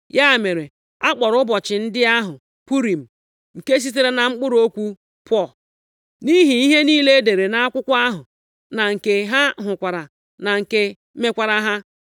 Ya mere, a kpọrọ ụbọchị ndị ahụ Purim nke sitere na mkpụrụ okwu Pur. Nʼihi ihe niile e dere nʼakwụkwọ ahụ na nke ha hụkwara na nke mekwaara ha.